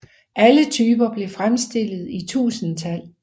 Alle typerne blev fremstillet i tusindtal